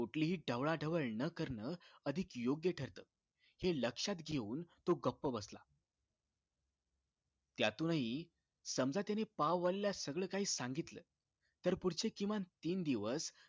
कुठलीही ढवळाढवळ न करणं अधिक योग्य ठरत हे लक्ष्यात घेऊन तो गप्प बसला त्यातून हि समजा त्याने पाव वालीला सगळं काही सांगितलं तर पुढचे किमान तीन दिवस